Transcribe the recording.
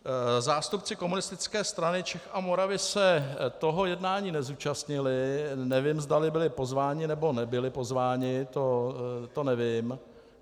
Zástupci Komunistické strany Čech a Moravy se toho jednání nezúčastnili, nevím, zdali byli pozváni, nebo nebyli pozváni, to nevím.